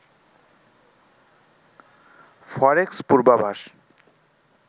ফরেক্স পূর্বাভাস